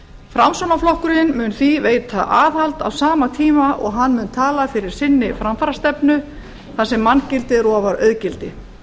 framsóknarflokkurinn mun því veita aðhald á sama tíma og hann mun tala fyrir sinni framfarastefnu þar sem manngildið er ofar auðgildi